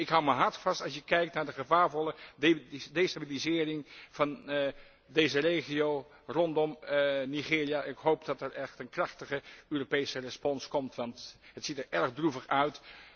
Ik houd mijn hart vast als je kijkt naar de gevaarvolle destabilisering van deze regio rondom Nigeria. Ik hoop dat er echt een krachtige Europese respons komt, want het ziet er erg droevig uit.